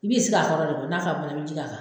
I b'i sigi a kɔrɔ de, n'a faamu na, i bɛ ji k'a kan